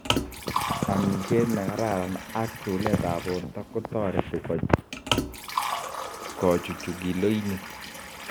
Amisheet nekararan ak chuleet ab borto kotareti kochuchuch kiloiniik